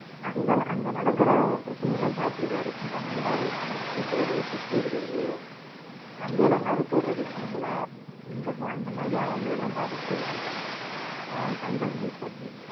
அங்க, அங்க நடக்குற பிரச்சனையெல்லாம் பார்த்திருக்காரு. இந்த மனிதாபிமானமற்ற செயலு பிச்சை எடுக்கிறது கங்கையில மிதக்க விடறது பிணங்களை இந்த மாதிரி இந்த மாதிரி அவலங்களை எல்லாம் பார்த்துட்டு, ஆஹ் கண்கலங்கி இருக்காப்டி